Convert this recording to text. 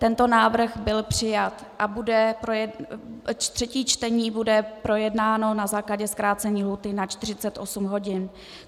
Tento návrh byl přijat a třetí čtení bude projednáno na základě zkrácení lhůty na 48 hodin.